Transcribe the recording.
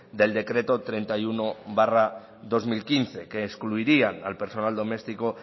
del decreto treinta y uno barra dos mil quince que excluirían al personal doméstico